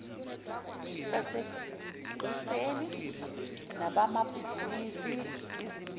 sasekuseni nabamabhizinisi izimbizo